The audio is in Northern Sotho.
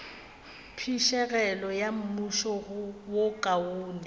phišegelo ya mmušo wo kaone